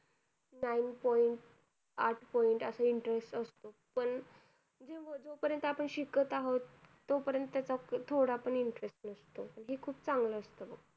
Nine point, आठ point असा interest असतो. पण ठीक आहे, जोपर्यंत आपण शिकत आहोत, तोपर्यंत कसंय थोडा पण interest नसतो. आणि हे खूप चांगलं असतं बघ.